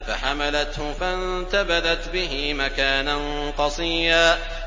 ۞ فَحَمَلَتْهُ فَانتَبَذَتْ بِهِ مَكَانًا قَصِيًّا